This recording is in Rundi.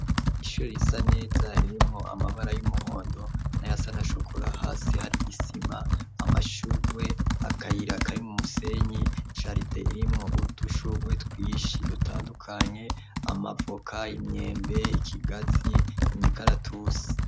Ishori risa neza ririmwo amabara y'umuhondo na yasanashokura hasi hari isima amashurwe akayiraka ari mu musenyi caride irimwo udushurwe twishi dutandukanye amavoka imyembe ikigazi imikaratusi.